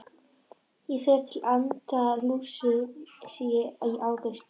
Ég fer til Andalúsíu í ágúst.